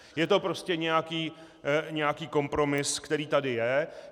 Je to prostě nějaký kompromis, který tady je.